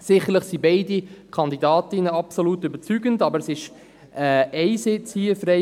Sicherlich sind beide Kandidatinnen absolut überzeugend, aber es ist hier Sitz frei.